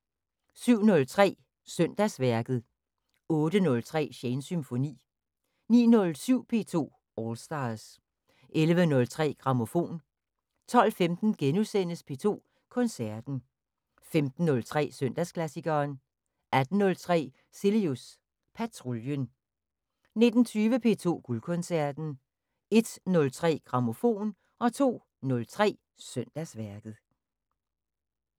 07:03: Søndagsværket 08:03: Shanes Symfoni 09:07: P2 All Stars 11:03: Grammofon 12:15: P2 Koncerten * 15:03: Søndagsklassikeren 18:03: Cilius Patruljen 19:20: P2 Guldkoncerten 01:03: Grammofon 02:03: Søndagsværket